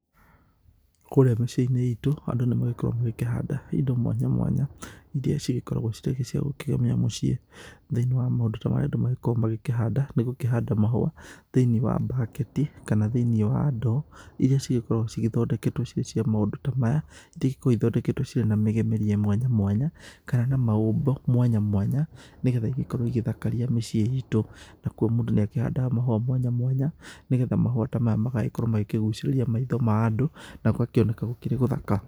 Kũrĩa mĩciĩ-inĩ itũ, andũ nĩ magĩkoragwo magĩkĩhanda indo mwanya mwanya, iria cigĩkoragwo cirĩ cia gũkĩgemia mũciĩ, Thĩ-inĩ wa maũndũ ta marĩa andũ magĩkoragwo magĩkĩhanda nĩ gũkĩhanda mahũa thĩ-inĩ wa mbaketi kana thĩ-inĩ wa ndoo, iria cigĩkoragwo cigĩthondeketwo cirĩ cia maũndũ ta maya, iria igĩkoragwo igĩthondeketwo cirĩ na mĩgemerie mwanya mwanya, kana na maũmbo mwanya mwanya, nĩgetha igĩkorwo igĩthakaria mĩciĩ itũ. Nakuo mũndũ nĩ akĩhandaga mahũa mwanya mwanya, nĩgetha mahũa ta maya magagĩkorwo magĩkĩgucĩrĩria maitho ma andũ na gũgakĩoneka gũkĩrĩ gũthaka.